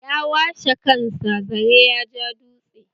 Yawa she kan sa zare ya ja dutse